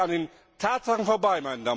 Aber es geht ja an den Tatsachen vorbei.